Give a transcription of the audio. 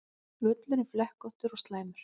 Völlurinn flekkóttur og slæmur